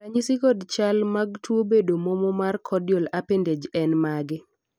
ranyisi kod chal mag tuo bedo momo mar caudal appendage en mage?